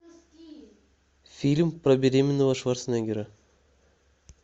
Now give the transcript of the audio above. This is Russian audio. фильм про беременного шварценеггера